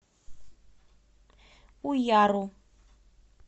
уяру